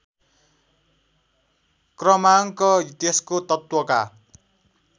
क्रमाङ्क त्यसको तत्त्वका